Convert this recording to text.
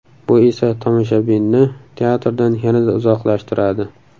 Bu esa tomoshabinni teatrdan yanada uzoqlashtiradi.